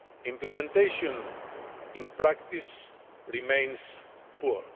Implementation in practice remains poor.